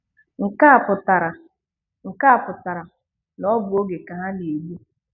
Nke a pụtara Nke a pụtara na ọ bụ oge ka ha na-egbụ.'